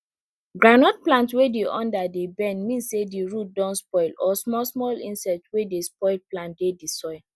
groundnut plant wey di under dey bend mean say di root don spoil or small small insect wey dey spoil plant dey di soil